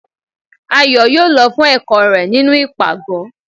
Ayo yóò lọ fún ẹkọ rẹ nínú ipágọ